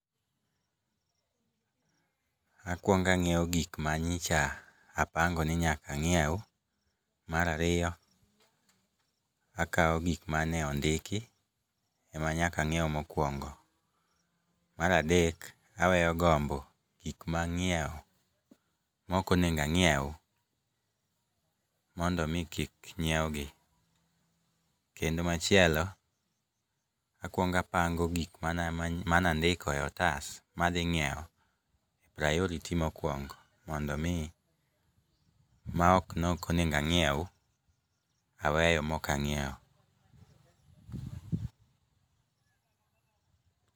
Akuong anyiewo gik manyicha apango ni nyaka anyiew. Mar ariyo, akawo gik mane ondiki ema nyaka ang'iew mokwongo .Mar adek aweyo gombo gik mang'iewo mok onego anyiew mondo mi kik nyiew gi, kendo machielo akuong apango gik mane andiko e otas madhi ng'iewo priority mokwongo mondo mi maok nokonego anyiew aweyo mok ang'iewo.